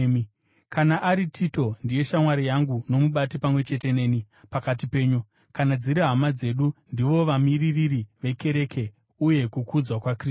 Kana ari Tito, ndiye shamwari yangu nomubati pamwe chete neni pakati penyu; kana dziri hama dzedu, ndivo vamiririri vekereke uye kukudzwa kwaKristu.